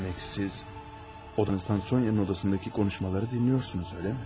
Demək siz odanızdan Sonya'nın odasındaki konuşmaları dinliyorsunuz, öyle mi?